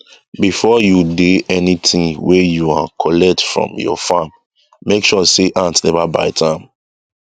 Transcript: before you dey any thing wey you um collect from your farm make sure say ant never bite am